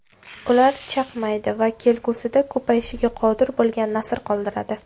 Ular chaqmaydi va kelgusida ko‘payishga qodir bo‘lmagan nasl qoldiradi.